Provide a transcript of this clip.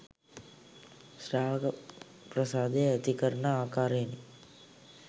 ශ්‍රාවක ප්‍රසාදය ඇති කරන ආකාරයෙනි.